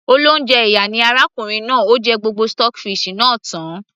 olóúnjẹ ìyà ni arákùnrin náà, ó jẹ gbogbo stockfish náà tan